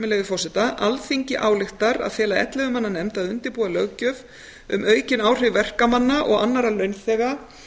leyfi forseta alþingi ályktar að fela ellefu manna nefnd að undirbúa löggjöf um aukin áhrif verkamanna og annarra launþega